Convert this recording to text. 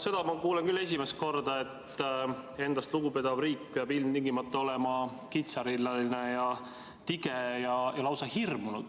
Seda ma kuulen küll esimest korda, et endast lugupidav riik peab ilmtingimata olema kitsarinnaline, tige ja lausa hirmunud ...